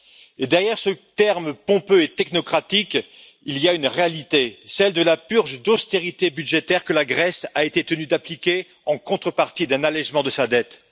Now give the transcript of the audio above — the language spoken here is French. Et derrière ce terme pompeux et technocratique, il y a une réalité, celle de la purge d'austérité budgétaire que la Grèce a été tenue d'appliquer en contrepartie d'un allégement de sa dette.